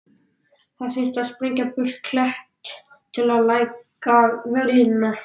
Það þurfi að sprengja burt klett til að lækka veglínuna.